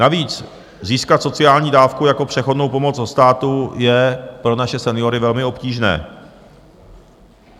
Navíc získat sociální dávku jako přechodnou pomoc od státu je pro naše seniory velmi obtížné.